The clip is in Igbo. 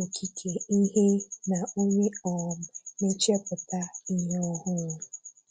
okike ihe na onye um na-echepụta ihe ọhụrụ.